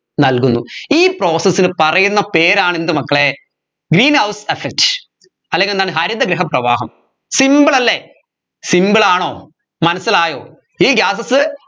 നൽകുന്നു ഈ process ന് പറയുന്ന പേരാണ് എന്ത് മക്കളെ greenhouse effect അല്ലെങ്കി എന്താണ് ഹരിതഗൃഹ പ്രവാഹം simple അല്ലെ simple ആണോ മനസ്സിലായോ ഈ gases